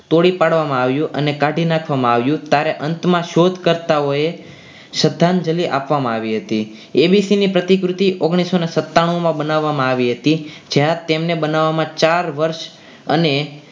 તોડી પાડવામાં આવ્યું અને કાઢી નાખવામાં આવ્યું ત્યારે અંતમાં શોધ કરતા હોય શ્રદ્ધાંજલિ આપવામાં આવી હતી એબીસી ની પ્રતિકૃતિ ઓગ્નીસોને સત્તાનુંમાં બનાવવામાં આવી હતી જ્યાં તેમને બનાવવામાં ચાર વર્ષ અને